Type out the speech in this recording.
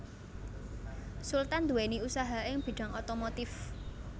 Sultan nduwèni usaha ing bidhang otomotif